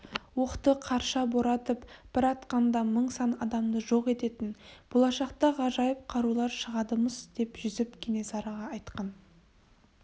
оқты қарша боратып бір атқанда мың сан адамды жоқ ететін болашақта ғажайып қарулар шығады-мыс деп жүсіп кенесарыға айтқан